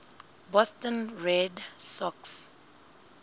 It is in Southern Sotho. boston red sox